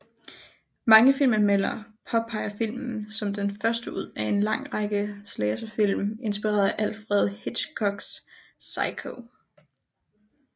Mange filmanmeldere påpeger filmen som den første ud af en lang række slasher film inspireret af Alfred Hitchcocks Psycho